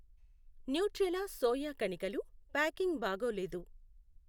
Nutrela soya కణికలు packing బాగోలేదు.